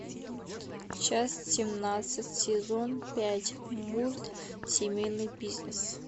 часть семнадцать сезон пять мульт семейный бизнес